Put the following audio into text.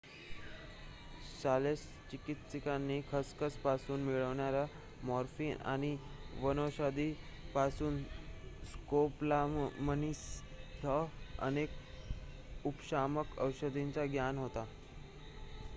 शल्यचिकित्सकांना खसखस पासून मिळणाऱ्या मोर्फिन आणि वनौषधी पासून स्कॉपोलामाईनसह अनेक उपशामक औषधांचे ज्ञान होते